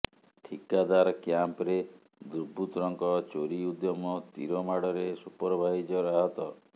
ଠିକାଦାର କ୍ୟାମ୍ପ୍ରେ ଦୁର୍ବୃତ୍ତଙ୍କ ଚୋରି ଉଦ୍ୟମ ତୀର ମାଡରେ ସୁପରଭାଇଜର ଆହତ